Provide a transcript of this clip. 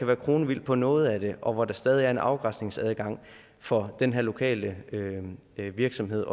være kronvildt på noget af det og hvor der stadig væk er en afgræsningsadgang for den her lokale virksomhed